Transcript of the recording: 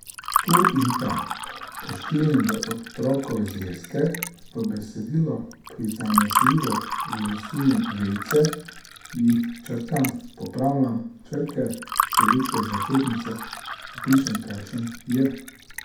Tu in tam poškilim v Otrokove zvezke, v besedilo prizanesljivo vrisujem vejice, jih črtam, popravljam črke, velike začetnice, vpišem kakšen j ...